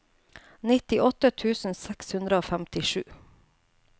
nittiåtte tusen seks hundre og femtisju